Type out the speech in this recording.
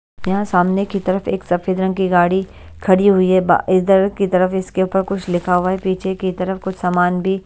यहाँ सामने की तरफ एक सफेद रंग की गाड़ी खड़ी हुई है इधर की तरफ इसके ऊपर कुछ लिखा हुआ है पीछे की तरफ कुछ सामान भी--